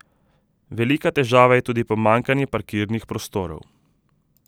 Velika težava je tudi pomanjkanje parkirnih prostorov.